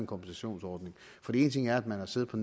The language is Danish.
kompensationsordning for én ting er at man har siddet og